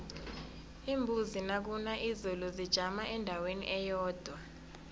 iimbuzi nakuna izulu zijama endaweni eyodwa